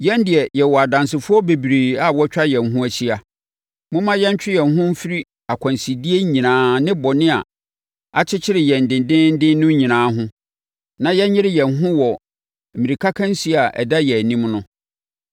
Yɛn deɛ, yɛwɔ adansefoɔ bebree a wɔatwa yɛn ho ahyia. Momma yɛntwe yɛn ho mfiri akwansideɛ nyinaa ne bɔne a akyekyere yɛn dendeenden no nyinaa ho na yɛnyere yɛn ho wɔ mmirikakansie a ɛda yɛn anim no.